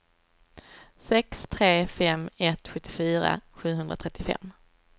sex tre fem ett sjuttiofyra sjuhundratrettiofem